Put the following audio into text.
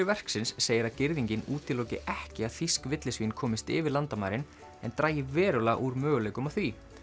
verksins segir að girðingin útiloki ekki að þýsk villisvín komist yfir landamærin en dragi verulega úr möguleikum á því